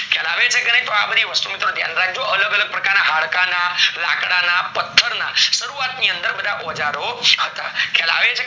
ખ્યાલ આવે છે કે નય તો આ બધી વસ્તુ ધ્યાન રાખજો, અલગ અલગ પ્રકાર્રના હાડકાના, લાકડાના, પાથરના, શરૂવાત માં ઓજારો હતા ખ્યાલ આવે છે